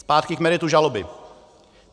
Zpátky k meritu žaloby.